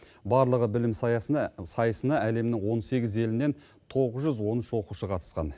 барлығы білім сайысына әлемнің он сегіз елінен тоғыз жүз он үш оқушы қатысқан